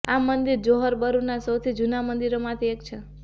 આ મંદિર જોહોર બરુના સૌથી જૂના મંદિરોમાંથી એક છે